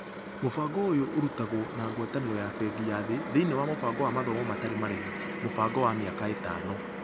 Mũbango ũyũ ũrutagwo na ngwatanĩro ya Bengi ya Thĩ thĩiniĩ wa mũbango wa mathomo matarĩ marĩhi, mũbango wa mĩaka ĩtano.